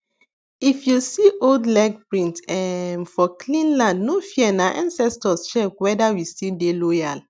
if you see old leg print um for clean land no fearna ancestors check whether we still dey loyal